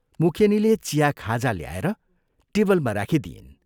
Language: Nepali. मुखेनीले चिया खाजा ल्याएर टेबलमा राखिदिइन्।